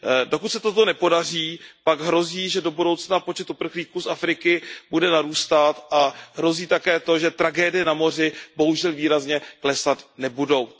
Dokud se toto nepodaří, pak hrozí, že do budoucna počet uprchlíků z Afriky bude narůstat a hrozí také to, že tragédie na moři, bohužel, výrazně klesat nebudou.